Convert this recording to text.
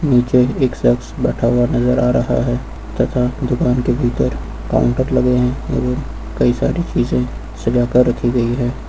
नीचे एक शक्स बैठा हुआ नजर आ रहा है तथा दुकान के भीतर काउंटर लगे हैं अगर कई सारी चीजें सजा कर रखी गई है।